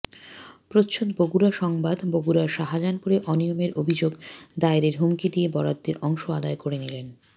প্রচ্ছদ বগুড়া সংবাদ বগুড়ার শাজাহানপুরে অনিয়মের অভিযোগ দায়েরের হুমকি দিয়ে বরাদ্দের অংশ আদায় করে নিলেন